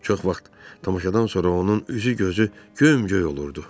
Çox vaxt tamaşadan sonra onun üzü, gözü göm-göy olurdu.